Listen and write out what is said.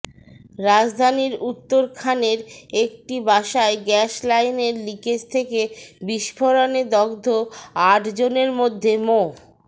রাজধানীর উত্তরখানের একটি বাসায় গ্যাস লাইনের লিকেজ থেকে বিস্ফোরণে দগ্ধ আটজনের মধ্যে মো